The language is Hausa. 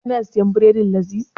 Ka na siyan bredin Laziz?